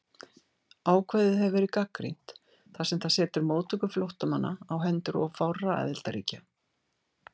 Ákvæðið hefur verið gagnrýnt þar sem það setur móttöku flóttamanna á hendur of fárra aðildarríkja.